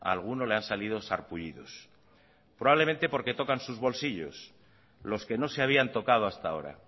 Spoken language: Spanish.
a alguno le han salido sarpullidos probablemente porque tocan sus bolsillos los que no se habían tocado hasta ahora